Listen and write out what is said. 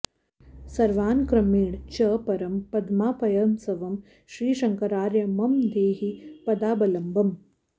सर्वान्क्रमेण च परं पदमापयंस्त्वं श्रीशङ्करार्य मम देहि पदाबलम्बम्